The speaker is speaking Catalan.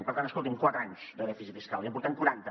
per tant escolti’m quatre anys de dèficit fiscal i en portem quaranta